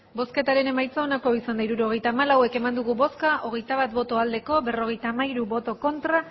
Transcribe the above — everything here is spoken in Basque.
hirurogeita hamalau eman dugu bozka hogeita bat bai berrogeita hamairu ez